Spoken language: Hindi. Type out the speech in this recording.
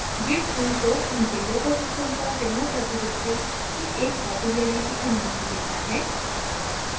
git उनको उनके local system पर remote repository की एक copy लेने की अनुमति देता है